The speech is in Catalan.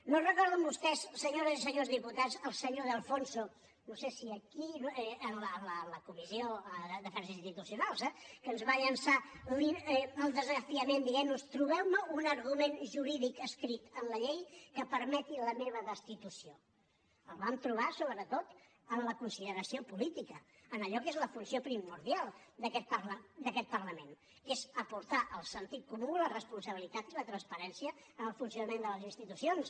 no recorden vostès senyores i senyors diputats el senyor de alfonso no sé si aquí en la comissió d’afers institucionals eh que ens va llançar el desafiament dient nos trobeu me un argument jurídic escrit en la llei que permeti la meva destitució el vam trobar sobretot en la consideració política en allò que és la funció primordial d’aquest parlament que és aportar el sentit comú la responsabilitat i la transparència en el funcionament de les institucions